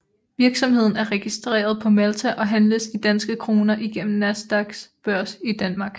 Virksomheden er registreret på Malta og handles i danske kroner igennem Nasdaqs børs i Danmark